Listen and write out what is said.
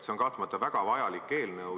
See on kahtlemata väga vajalik eelnõu.